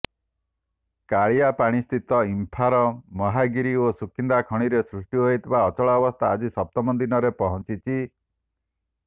କାଳିଆପାଣିସ୍ଥିତ ଇମ୍ଫାର ମହାଗିରି ଓ ସୁକିନ୍ଦା ଖଣିରେ ସୃଷ୍ଟି ହୋଇଥିବା ଅଚଳାବସ୍ତା ଆଜି ସପ୍ତମ ଦିନରେ ପହଞ୍ଚିଛି